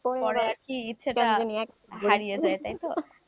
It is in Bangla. পরে আর কি ইচ্ছাটা হারিয়ে যায় তাই তো,